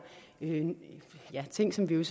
ting som vi